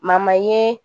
ye